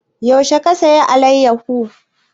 Yaushe ka saya alayyafo?